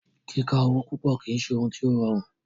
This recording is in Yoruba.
Kíka owo púpọ̀ kìí ṣe òhún tí o rọrùn.